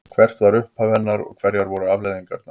Hvert var upphaf hennar og hverjar voru afleiðingarnar?